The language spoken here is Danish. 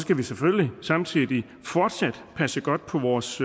skal vi selvfølgelig samtidig fortsat passe godt på vores